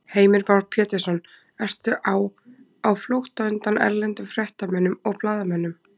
Heimir Már Pétursson: Ertu á, á, á flótta undan erlendum fréttamönnum og blaðamönnum?